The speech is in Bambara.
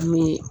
An bɛ